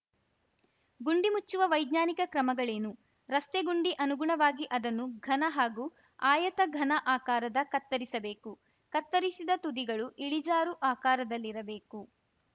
ಗುಂಡಿ ಮುಚ್ಚುವ ವೈಜ್ಞಾನಿಕ ಕ್ರಮಗಳೇನು ರಸ್ತೆ ಗುಂಡಿ ಅನುಗುಣವಾಗಿ ಅದನ್ನು ಘನ ಹಾಗೂ ಆಯತ ಘನ ಆಕಾರದ ಕತ್ತರಿಸಬೇಕು ಕತ್ತರಿಸಿದ ತುದಿಗಳು ಇಳಿಜಾರು ಆಕಾರದಲ್ಲಿರಬೇಕು